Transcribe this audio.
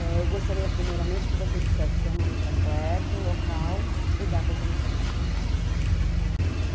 Eh, eu gostaria, primeiramente, que você dissesse seu nome completo, local e data de nascimento.